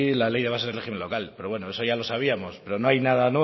la ley de bases de régimen local pero bueno eso ya lo sabíamos pero no hay nada